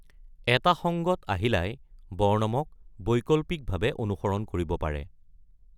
এটা সংগত আহিলাই বৰ্ণমক বৈকল্পিকভাৱে অনুসৰণ কৰিব পাৰে।